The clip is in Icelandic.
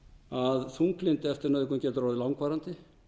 að þunglyndi eftir nauðgun getur orðið langvarandi